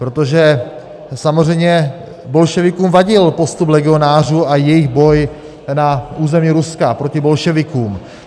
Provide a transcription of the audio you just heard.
Protože samozřejmě bolševikům vadil postup legionářů a jejich boj na území Ruska proti bolševikům.